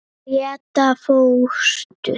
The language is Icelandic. Gréta fóstur.